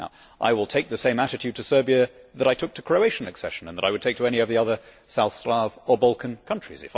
I will take the same attitude to Serbia that I took to Croatian accession and that I would take to any of the other South Slavic or Balkan countries.